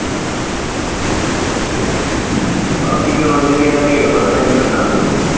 ਬਾਕੀ ਦੀਨੋ ਦਿਨ ਇਹਦਾ ਰੇਟ ਵਧਣਾ ਹੀ ਆ ਘਟਣਾ ਥੋੜੀ ਆ।